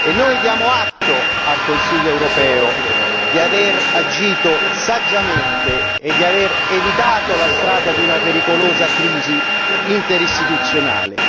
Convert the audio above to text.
Noi diamo atto al Consiglio europeo di aver agito saggiamente e di aver evitato la strada di una pericolosa crisi interistituzionale.